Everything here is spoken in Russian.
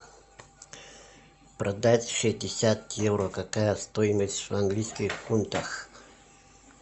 продать шестьдесят евро какая стоимость в английских фунтах